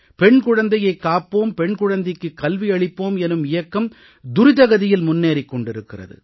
பெண் குழந்தையைக் காப்போம் பெண் குழந்தைக்கு கல்வி அளிப்போம் எனும் இயக்கம் துரித கதியில் முன்னேறிக் கொண்டிருக்கிறது